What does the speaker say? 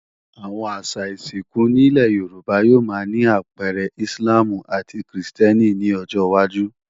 Àwọn àṣà ìsìnkú nílé Yorùbá yóò máa ní àpẹẹrẹ Íslàmù àti krìstẹ́nì ní ọjọwájú